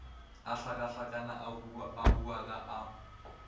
a hlakahlakana a hubaka a